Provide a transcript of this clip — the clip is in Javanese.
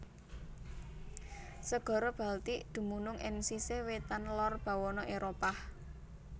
Segara Baltik dumunung ing sisih wétan lor bawana Éropah